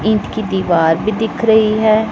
ईंट की दीवार भी दिख रही है।